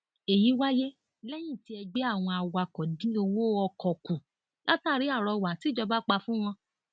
èyí wáyé lẹyìn tí ẹgbẹ àwọn awakọ dín owó ọkọ kù látàrí àrọwà tìjọba pa fún wọn